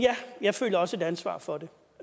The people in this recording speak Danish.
jeg føler også et ansvar for det